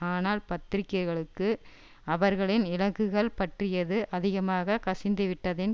ஆனால் பத்திரிக்கைகளுக்கு அவர்களின் இலக்குகள் பற்றியது அதிகமாய் கசிந்துவிட்டதின்